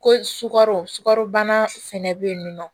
Ko sukaro sukaro bana fɛnɛ bɛ yen nɔ